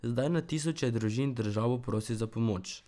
Zdaj na tisoče družin državo prosi za pomoč.